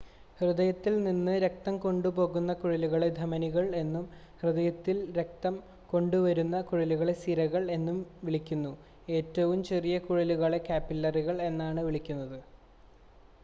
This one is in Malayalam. ഹൃദയത്തിൽ നിന്ന് രക്തം കൊണ്ടുപോകുന്ന കുഴലുകളെ ധമനികൾ എന്നും ഹൃദയത്തിലേക്ക് രക്തം കൊണ്ടുവരുന്ന കുഴലുകളെ സിരകൾ എന്നും വിളിക്കുന്നു ഏറ്റവും ചെറിയ കുഴലുകളെ കാപ്പിലറികൾ എന്ന് വിളിക്കുന്നു